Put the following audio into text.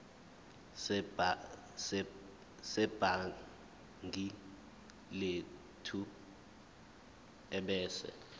sebhangi lethu ebese